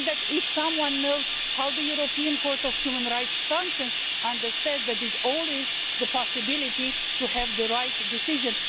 If someone knows how the European Court of Human Rights functions, they understand that there is always the possibility of having the right decision.